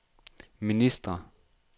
ministre